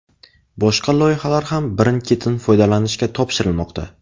Boshqa loyihalar ham birin-ketin foydalanishga topshirilmoqda.